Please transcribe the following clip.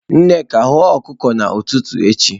Nneka, hụọ okuko ututu echi!